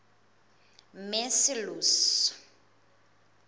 macilose